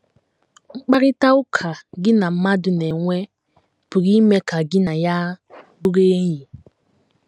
Mkparịta ụka gị na mmadụ na - enwe pụrụ ime ka gị na ya bụrụ enyi.